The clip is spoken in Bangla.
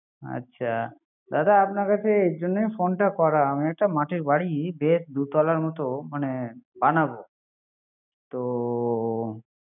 আচ্ছা দাদা আপনাকে এই জন্য ফোনটা করা আমি একটা মাটির বাড়ি ই বেক দোতলার মত মানে বানাবো, তো আচ্ছা